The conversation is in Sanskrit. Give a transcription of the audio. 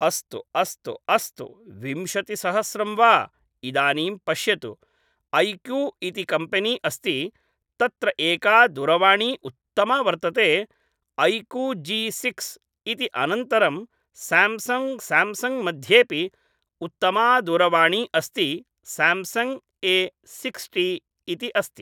अस्तु अस्तु अस्तु विंशतिसहस्रं वा इदानीं पश्यतु ऐकू इति कम्पेनी अस्ति तत्र एका दूरवाणी उत्तमा वर्तते ऐकू जि सिक्स् इति अनन्तरं स्याम्सङ्ग् स्याम्सङ्ग् मध्येऽपि उत्तमादूरवाणी अस्ति स्याम्सङ्ग् ए सिक्स्टि इति अस्ति